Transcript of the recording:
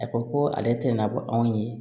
A ko ko ale tɛ nabɔ anw ye